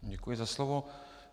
Děkuji za slovo.